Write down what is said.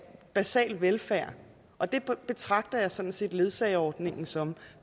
basal velfærd og det betragter jeg sådan set ledsageordningen som